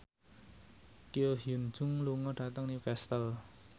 Ko Hyun Jung lunga dhateng Newcastle